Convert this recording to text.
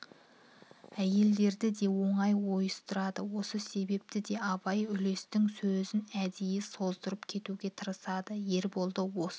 әйелдерді де оңай ойыстырады осы себепті де абай үлестің сөзін әдейі создырып кетуге тырысады ерболды осы